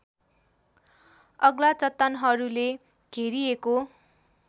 अग्ला चट्टानहरूले घेरिएको